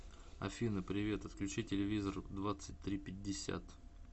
афина привет отключи телевизор в двадцать три пятьдесят